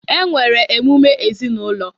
E nwere emume ezinaụlọ